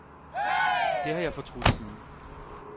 Det har jeg fortrudt siden.